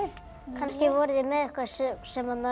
kannski voru þeir með eitthvað sem